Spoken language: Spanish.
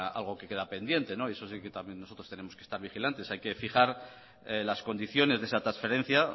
algo que queda pendiente y eso sí que también nosotros tenemos que estar vigilantes hay que fijar las condiciones de esa transferencia